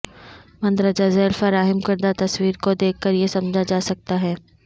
مندرجہ ذیل فراہم کردہ تصویر کو دیکھ کر یہ سمجھا جا سکتا ہے